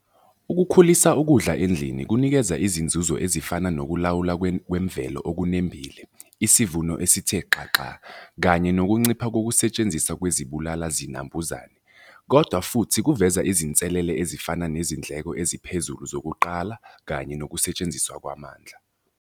Ukukhulisa ukudla endlini kunikeza izinzuzo ezifana nokulawula kwemvelo okunembile, isivuno esithe xaxa, kanye nokuncipha kokusetshenziswa kwezibulala zinambuzane, kodwa futhi kuveza izinselele ezifana nezindleko eziphezulu zokuqala kanye nokusetshenziswa kwamandla.